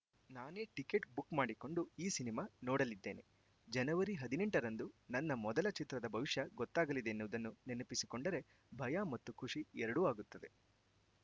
ನಾನೇ ticket book ಮಾಡಿಕೊಂಡು ಈ ಸಿನಿಮಾ ನೋಡಲಿದ್ದೇನೆ ಜನವರಿ ಹದಿನೆಂಟರಂದು ನನ್ನ ಮೊದಲ ಚಿತ್ರದ ಭವಿಷ್ಯ ಗೊತ್ತಾಗಲಿದೆ ಎನ್ನುವುದನ್ನು ನೆನಪಿಸಿಕೊಂಡರೆ ಭಯ ಮತ್ತು ಖುಷಿ ಎರಡೂ ಆಗುತ್ತದೆ